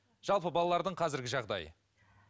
жалпы балалардың қазіргі жағдайы